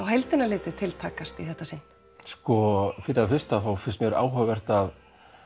heildina litið til takast í þetta sinn sko fyrir það fyrsta finnst mér áhugavert að